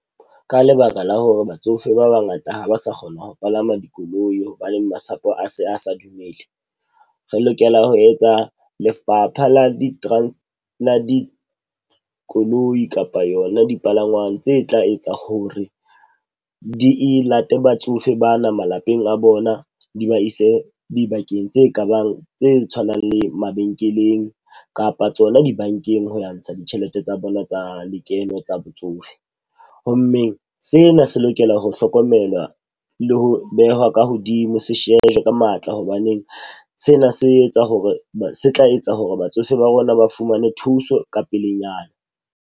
Ka lebaka la hore batsofe ba bangata ha ba sa kgona ho palama dikoloi hobaneng masapo a se a sa dumele. Re lokela ho etsa lefapha la di dikoloi kapa yona dipalangwang tse tla etsa hore di e late batsofe bana malapeng a bona di ba ise dibakeng tse kabang tse tshwanang le mabenkeleng kapa tsona dibankeng, ho ya ntsha ditjhelete tsa bona tsa lekeno tsa botsofe. Ho mmeng sena se lokela ho hlokomelwa le ho behwa ka hodimo se shejwe ka matla. Hobaneng sena se etsa hore se tla etsa hore batsofe ba rona ba fumane thuso ka pelenyana.